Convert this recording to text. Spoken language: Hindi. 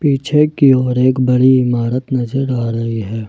पीछे की ओर एक बड़ी इमारत नजर आ रही है।